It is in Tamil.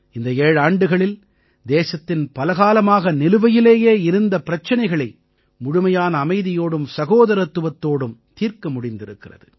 இந்த ஏழாண்டுகளில் தேசத்தின் பலகாலமாக நிலுவையிலேயே இருந்த பிரச்சனைகளை முழுமையான அமைதியோடும் சகோதரத்துவத்தோடும் தீர்க்க முடிந்திருக்கிறது